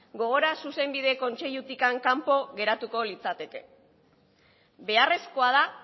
gogora zuzenbide kontseilutik kanpo geratuko litzateke beharrezkoa da